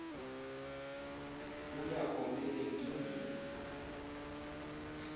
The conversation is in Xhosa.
uya komel emcingeni